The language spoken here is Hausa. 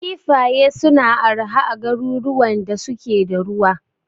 Kifaye suna arha a garuruwan da suke da ruwa.